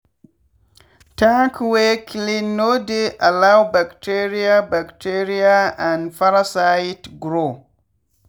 tank wey clean no dey allow bacteria bacteria and parasite grow.